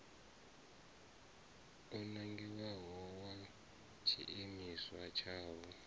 o nangiwaho wa tshiimiswa tshavho